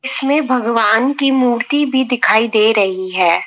इसमें भगवान की मूर्ति भी दिखाई दे रही है।